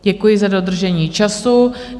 Děkuji za dodržení času.